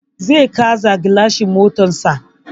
Zai canza gilacin motarsa.